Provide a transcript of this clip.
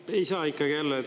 No ei saa ikkagi jälle.